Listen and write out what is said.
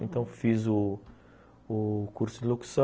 Então, fiz o o curso de locução,